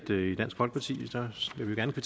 det